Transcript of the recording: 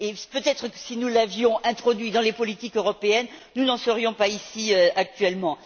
Peut être que si nous l'avions introduit dans les politiques européennes, nous n'en serions pas ici actuellement.